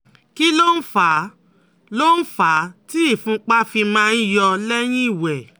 Kí ló ń fà ló ń fà á tí ìfúnpá fi máa ń yọ lẹ́yìn ìwẹ̀?